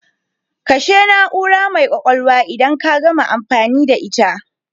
Kashe na'ura mai kwakwalwa idan ka gama amfani da ita